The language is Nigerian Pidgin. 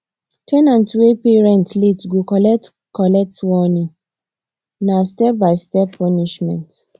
ten ant wey pay rent late go collect collect warning na stepbystep punishment